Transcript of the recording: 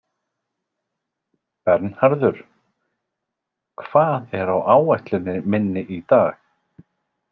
Bernharður, hvað er á áætluninni minni í dag?